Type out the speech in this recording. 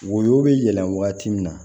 Woyo bɛ yɛlɛn wagati min na